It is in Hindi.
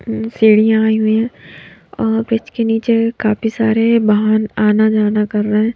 सीढ़ियां आई हुई हैं और ब्रिज के नीचे काफी सारे बाहान आना जाना कर रहे हैं।